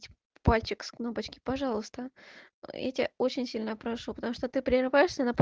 пальчик с кнопочки пожалуйста я тебя очень сильно прошу потому что ты прерываешься на пол